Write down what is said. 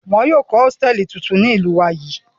Wọn yóò ko hotẹẹli titun ni ninu ilu yi.